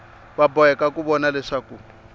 va boheka ku vona leswaku